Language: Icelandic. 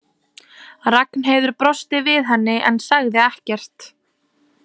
Ragnheiður brosti við henni en sagði ekkert.